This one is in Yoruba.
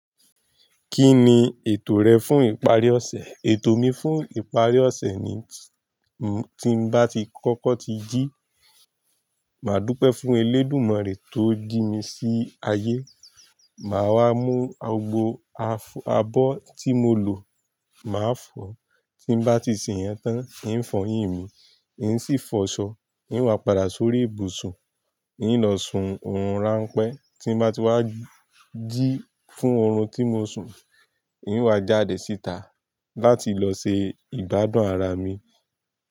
Kí ni ètò rẹ fún ìparí ọ̀sẹ̀? Ètò mi fún ìparí ọ̀sẹ̀ ni tí n bá ti kọ́kọ́ ti jí, mà á dúpẹ́ fún elédùmàrè tó jí mi sí ayé, mà á wá mu ogbo abo tí mo lò, mà á fọ̀, tí n bá ti ṣe yẹn tán, ń fọyín mi, ń sì fọ̀ ṣọ, ń wà padà sórí ibùsùn, ń lọ sun orun ranpẹ́, tí n bá ti wá jí fún orun tí mò ń sun, ń wà jáde síta láti lọ se ìgbadùn ara mi.